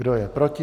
Kdo je proti?